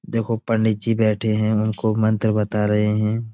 देखो पंडित जी बैठे हैं उनको मंत्र बता रहे हैं।